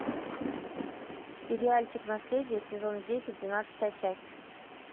сериальчик наследие сезон десять двенадцатая часть